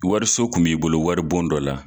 Wariso kun b'i bolo waribon dɔ la